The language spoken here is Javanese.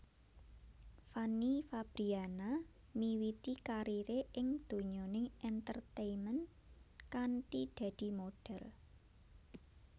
Fanny Fabriana miwiti karire ing donyaning entertainment kanthi dadi modhél